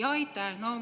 Aitäh!